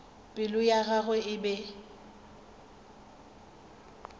pelo ya gagwe e be